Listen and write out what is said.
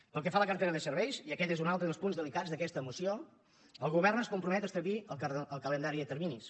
pel que fa a la cartera de serveis i aquest és un altre dels punts delicats d’aquesta moció el govern es compromet a establir el calendari de terminis